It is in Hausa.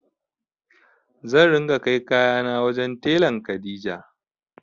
Zan ringa kai kayana wajen telan Kadija.